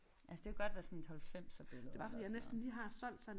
Altså det kunne godt være sådan et halvfemserbillede eller sådan noget